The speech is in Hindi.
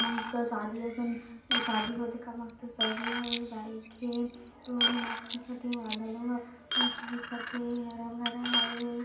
मस्त शादी असन शादी होथे का मस्त सजे हवे बाइक हे रोड हे मस्त दिखत हे बादलो ह मस्त दिखत हे हरा-भरा हवे।